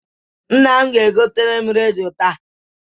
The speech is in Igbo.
Nna m ga-egotere m redio taa.